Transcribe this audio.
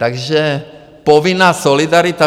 Takže povinná solidarita.